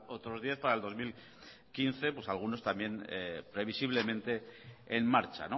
otros diez para el dos mil quince pues algunos también previsiblemente en marcha